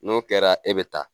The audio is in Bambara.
N'o kɛra e bɛ taa.